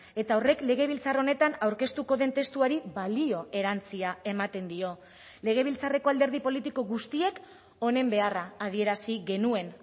eta horrek legebiltzar honetan aurkeztuko den testuari balio erantsia ematen dio legebiltzarreko alderdi politiko guztiek honen beharra adierazi genuen